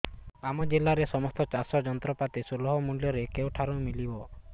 ଆମ ଜିଲ୍ଲାରେ ସମସ୍ତ ଚାଷ ଯନ୍ତ୍ରପାତି ସୁଲଭ ମୁଲ୍ଯରେ କେଉଁଠାରୁ ମିଳିବ